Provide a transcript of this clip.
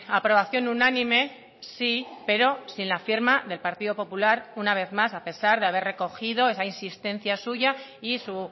aprobación unánime sí pero sin la firma del partido popular una vez más a pesar de haber recogido esa insistencia suya y su